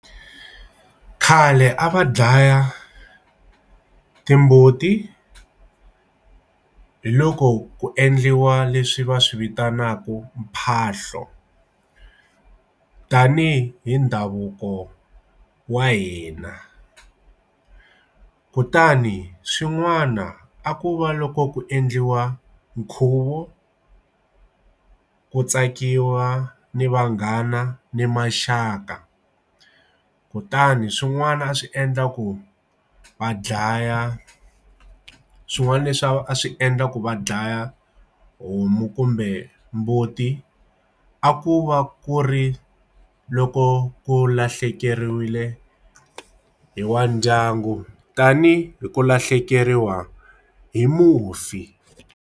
Khale a va dlaya timbuti hiloko ku endliwa leswi va swivitanaka mphahlo tanihi hi ndhavuko wa hina kutani swin'wana a ku va loko ku endliwa nkhuvo ku tsakiwa ni vanghana ni maxaka kutani swin'wana a swi endla ku va dlaya swin'wana leswi a swi endla ku va dlaya homu kumbe mbuti a a ku va ku ri loko ku lahlekeriwile hi wa ndyangu tanihi hi ku lahlekeriwa hi mufi.